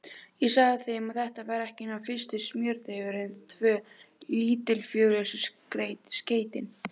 Ég sagði þeim, að þetta væri ekki nema fyrsti smjörþefurinn, tvö lítilfjörlegustu skeytin.